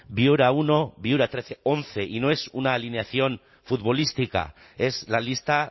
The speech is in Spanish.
viuramenos uno viuramenos trece once y no es una alineación futbolística es la lista